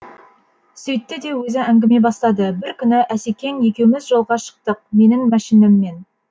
сөйтті де өзі әңгіме бастады бір күні асекең екеуміз жолға шықтық менің мәшинеммен